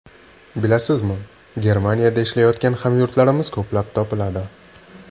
Bilasizmi, Germaniyada ishlayotgan hamyurtlarimiz ko‘plab topiladi.